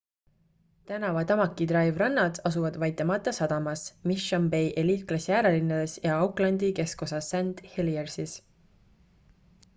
tänava tamaki drive rannad asuvad waitemata sadamas mission bay eliitklassi äärelinnades ja aucklandi keskosas st heliers'is